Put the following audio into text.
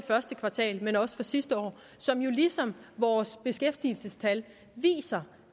første kvartal og også for sidste år som jo ligesom vores beskæftigelsestal viser